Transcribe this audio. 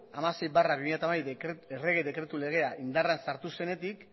hamasei barra bi mila hamabi errege dekretu legea indarrean sartu zenetik